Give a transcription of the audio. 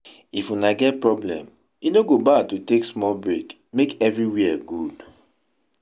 if una get problem, e no go bad to take smal brake mek everiwia gud